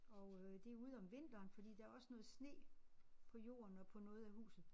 Og øh det ude om vinteren fordi der også noget sne på jorden og på noget af huset